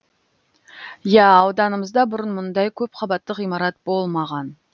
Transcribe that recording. иә ауданымызда бұрын мұндай көп қабатты ғимарат болмаған